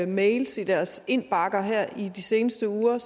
mails i deres indbakker her i de seneste uger